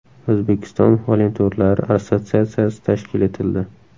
O‘zbekiston volontyorlari assotsiatsiyasi tashkil etildi.